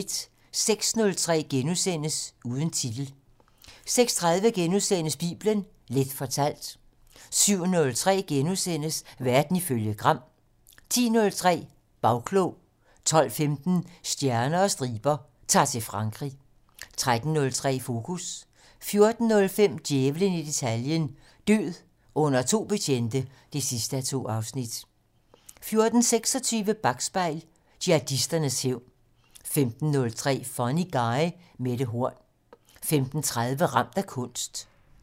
06:03: Uden titel * 06:30: Bibelen Leth fortalt * 07:03: Verden ifølge Gram * 10:03: Bagklog 12:15: Stjerner og striber - Ta'r til Frankrig 13:03: Fokus 14:05: Djævlen i detaljen - Død under to betjente 2:2 14:26: Bakspejl: Jihadisternes hævn 15:03: Funny Guy: Mette Horn 15:30: Ramt af kunst